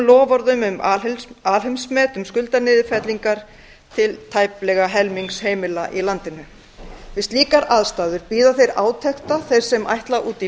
loforðum um alheimsmet um skuldaniðurfellingar til tæplega helmings heimila í landinu við slíkar aðstæður bíða þeir átekta þeir sem ætla út í